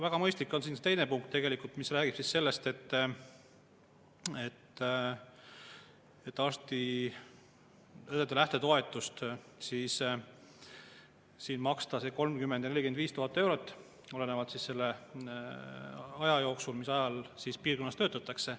Väga mõistlik on siin see punkt, mis räägib sellest, et arstide ja õdede lähtetoetus on 30 000 ja 45 000 eurot, olenevalt sellest ajast, piirkonnas töötatakse.